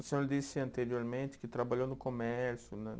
O senhor disse anteriormente que trabalhou no comércio, né